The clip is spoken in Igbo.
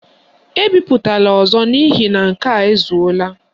Ebipụtala ọzọ n' ihi na nke a ezuola!